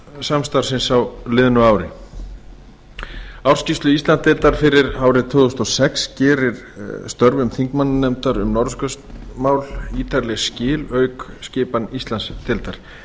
innan norðurskautssamstarfsins á liðnu ári ársskýrsla íslandsdeildar fyrir árið tvö þúsund og sex gerir störfum þingmannanefndar um norðurskautsmál ítarleg skil auk skipan íslandsdeildar